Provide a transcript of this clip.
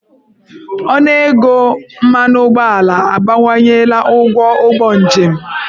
Ọnụego mmanụ ụgbọala abawanyela ụgwọ ụgbọ njem.